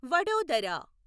Vadodara